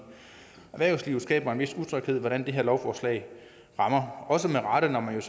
erhvervslivet skaber en vis utryghed om hvordan det her lovforslag rammer også med rette når man